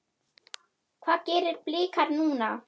Hvað gera Blikar núna?